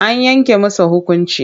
An yanke masa hukunci.